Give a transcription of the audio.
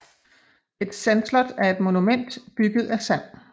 Et sandslot er et monument bygget af sand